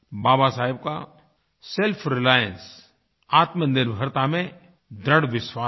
बाबा साहब का selfrelianceआत्मनिर्भरता में दृढ़ विश्वास था